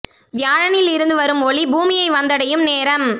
வியாழனில் இருந்து வரும் ஒளி பூமியை வந்தடையும் நேரம்